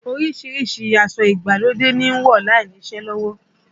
Orísìírísìí aṣọ ìgbàlódé ni ń wọ̀ láìní iṣẹ́ lọ́wọ́